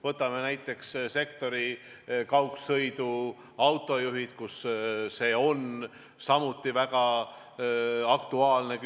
Võtame näiteks kaugsõiduautojuhid, kus see on samuti väga aktuaalne.